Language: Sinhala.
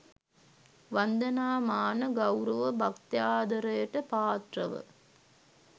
වන්දනාමාන ගෞරව භක්ත්‍යාදරයට පාත්‍රව